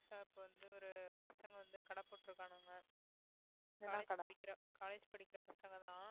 புதுசா இப்ப வந்து ஒரு பசங்க வந்து கடை போட்டு இருக்கானுங்க college படிக்கிற college படிக்கிற பசங்கதான்